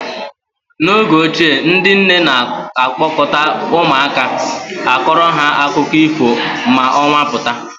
N'oge ochie ndị nne na-a kpọkọta ụmụaka akọrọ ha akụkọ ifo ma ọnwa pụta.